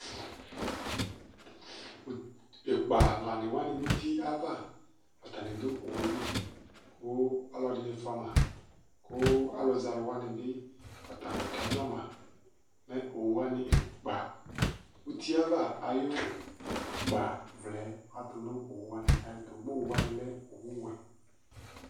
Ikpa lanɩ wanɩ nʋ uti ava, atanɩ dʋ owʋli, kʋ ɔlɔdini fʋama, kʋ alʋzɛ alʋwani bi lakadzɔma Mɛ owʋwani ikpa uti yɛ ava ayʋ ikpavlɛ atʋnʋ owʋwani ayʋ ɛtʋ kʋ owʋwani lɛ owʋwɛ